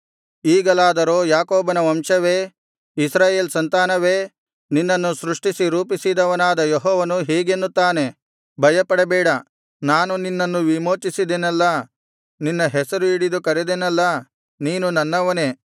ಈಗಲಾದರೋ ಯಾಕೋಬನ ವಂಶವೇ ಇಸ್ರಾಯೇಲ್ ಸಂತಾನವೇ ನಿನ್ನನ್ನು ಸೃಷ್ಟಿಸಿ ರೂಪಿಸಿದವನಾದ ಯೆಹೋವನು ಹೀಗೆನ್ನುತ್ತಾನೆ ಭಯಪಡಬೇಡ ನಾನು ನಿನ್ನನ್ನು ವಿಮೋಚಿಸಿದೆನಲ್ಲಾ ನಿನ್ನ ಹೆಸರು ಹಿಡಿದು ಕರೆದೆನಲ್ಲಾ ನೀನು ನನ್ನವನೇ